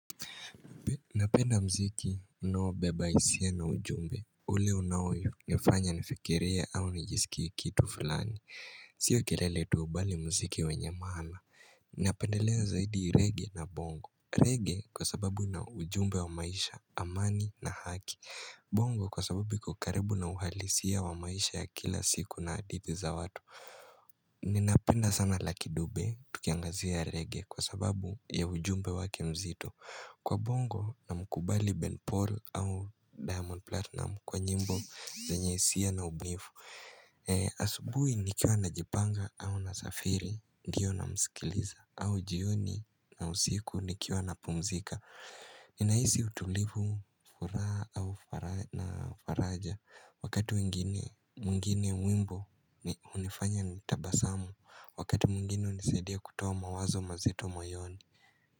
Napenda mziki unaobeba isia na ujumbe ule unaonifanya nifikirie au nijisikie kitu fulani Sio kelele tu bali mziki wenye maana Napendelea zaidi reggae na bongo reggae kwa sababu na ujumbe wa maisha amani na haki bongo kwa sababu iko karibu na uhalisia wa maisha ya kila siku na adith za watu Ninapenda sana lucky dube tukiangazia reggae kwa sababu ya ujumbe wake mzito Kwa bongo namkubali Ben Paul au Diamond Platinum kwa nyimbo zenye hisia na ubunifu. Asubui nikiwa najipanga au nasafiri, ndiyo namsikiliza, au jioni na usiku nikiwa napumzika. Ninaisi utulivu furaa na faraja wakati mwingine wimbo hunifanya nitabasamu, wakati mwingine hunisaidia kutoa mawazo mazito moyoni.